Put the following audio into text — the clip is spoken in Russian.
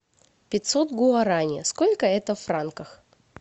пятьсот гуарани сколько это в франках